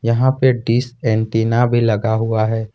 यहां पे dish antenna भी लगा हुआ है।